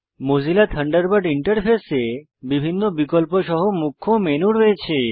Mozilla Thunderbird ইন্টারফেসে বিভিন্ন বিকল্প সহ মুখ্য মেনু রয়েছে